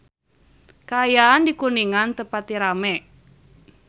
Kaayaan di Kuningan teu pati rame